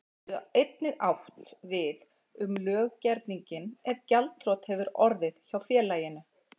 geta einnig átt við um löggerninginn ef gjaldþrot hefur orðið hjá félaginu.